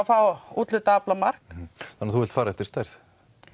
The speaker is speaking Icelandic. fá úthlutað aflamark þannig að þú vilt fara eftir stærð